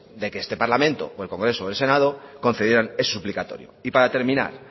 de que este parlamento o el congreso o el senado concedieran el suplicatorio y para terminar